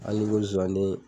Hali ko zonsanden.